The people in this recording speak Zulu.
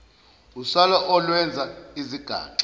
usala olwenza izigaxa